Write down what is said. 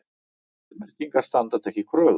Verðmerkingar standast ekki kröfur